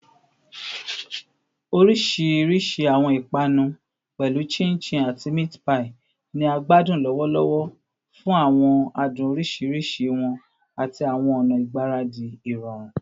Orisirisi awọn ipanu, pẹlu chin chin ati meat pie, ni a gbadun lọwọlọwọ fun awọn adun oriṣiriṣi wọn ati awọn ọna igbaradi irọrun